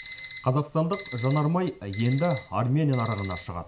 қазақстандық жанармай енді армения нарығына шығады